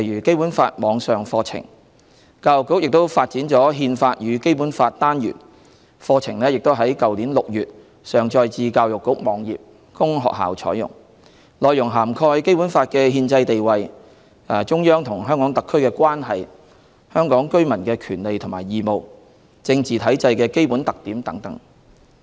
教育局也發展了"憲法與《基本法》"單元，課程已在去年6月上載至教育局網頁供學校採用，內容涵蓋《基本法》的憲制地位、中央和香港特區的關係、香港居民的權利和義務、政治體制的基本特點等。